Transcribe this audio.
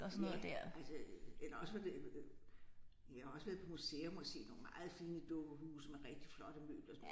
Ja altså øh eller også var det øh jeg har også været på museum og set nogle meget fine dukkehuse med rigtig flotte møbler og sådan noget